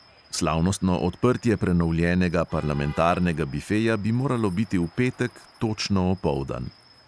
Slavnostno odprtje prenovljenega parlamentarnega bifeja bi moralo biti v petek, točno opoldan.